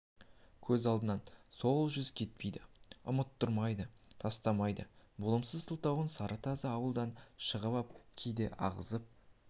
көз алдынан сол жүз кетпейді ұмыттырмайды тастамайды болымсыз сылтауы сары тазы ауылдан шығып ап кейде ағызып